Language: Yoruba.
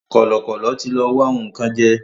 Kọ̀lọ̀kọ̀lọ̀ tí lọ wá nǹkan jẹ́